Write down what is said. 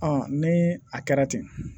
ni a kɛra ten